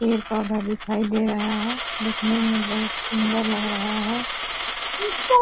पेड़ पौधा दिखाई दे रहा है दिखने मे बहुत सुन्दर लग रहा है ।